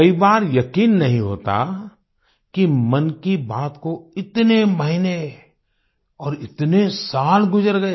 कई बार यकीन नहीं होता कि मन की बात को इतने महीने और इतने साल गुजर गए